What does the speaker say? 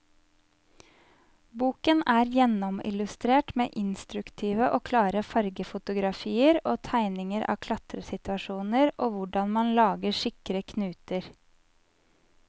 Boken er gjennomillustrert med instruktive og klare fargefotografier og tegninger av klatresituasjoner og hvordan man lager sikre knuter.